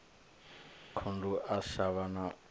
khundu a shavha o livha